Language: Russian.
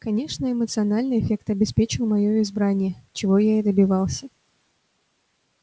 конечно эмоциональный эффект обеспечил моё избрание чего я и добивался